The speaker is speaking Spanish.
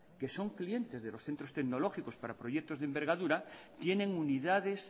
que son clientes de los centros tecnológicos para proyectos de envergadura tienen unidades